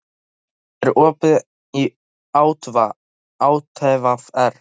Rúnar, er opið í ÁTVR?